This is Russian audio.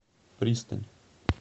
пристань